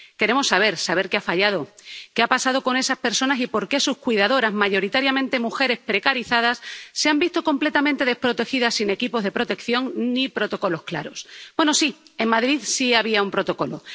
Queremos saber, saber qué ha fallado, qué ha pasado con esas personas y por qué sus cuidadoras, mayoritariamente mujeres precarizadas, se han visto completamente desprotegidas, sin equipos de protección ni protocolos claros. Bueno, sí, en Madrid sí había un protocolo.